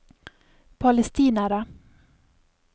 palestinere